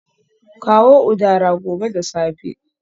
Kawo udara gobe da safe